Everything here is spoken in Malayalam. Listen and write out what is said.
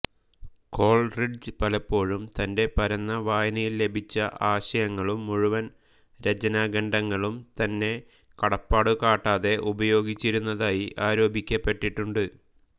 കോൾറിഡ്ജ് പലപ്പോഴും തന്റെ പരന്ന വായനയിൽ ലഭിച്ച ആശയങ്ങളും മുഴുവൻ രചനാഖണ്ഡങ്ങളും തന്നെ കടപ്പാടു കാട്ടാതെ ഉപയോഗിച്ചിരുന്നതായി ആരോപിക്കപ്പെട്ടിട്ടുണ്ട്